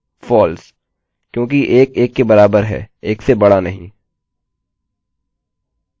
false क्योंकि 1 1 के बराबर है 1 से बड़ा नहीं